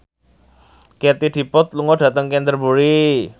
Katie Dippold lunga dhateng Canterbury